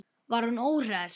Var hún óhress?